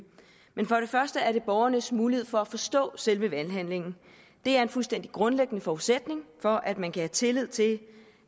men for det første er det borgernes mulighed for at forstå selve valghandlingen det er en fuldstændig grundlæggende forudsætning for at man kan have tillid til